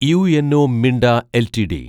UNO Minda LTD